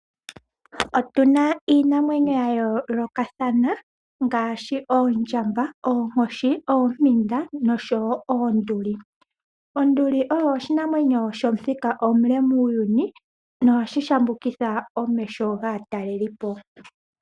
Otuna iinamwenyo ya yolokathana ngashi oondjamba, oonkoshi, oompinda noshowo oonduli. Onduli oyo oshinamwenyo shomuthika omule muuyuni nohashi shambukitha omeho gaatalelipo.